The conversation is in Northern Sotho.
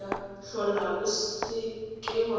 hlola o se ke wa